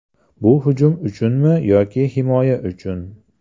Bu hujum uchunmi yoki himoya uchun?